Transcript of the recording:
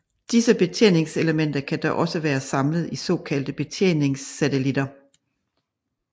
Disse betjeningselementer kan dog også være samlet i såkaldte betjeningssatelitter